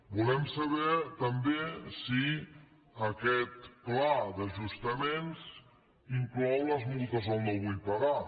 volem saber també si aquest pla d’ajustaments inclou les multes al no vull pagar